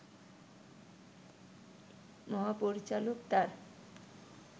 মহাপরিচালক তাঁর